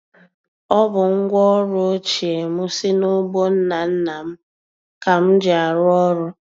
Ọ bụ ngwaọrụ ochie m si n'ugbo nna nna m ka m ji arụ ọrụ.